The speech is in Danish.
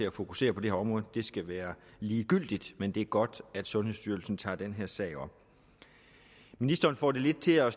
at fokusere på det her område skal være ligegyldigt men det er godt at sundhedsstyrelsen tager den her sag op ministeren får det lidt til at